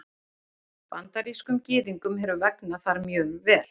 Bandarískum Gyðingum hefur vegnað þar mjög vel.